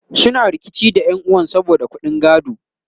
suna rikici da ƴan'uwan sa saboda ƙuɗin gado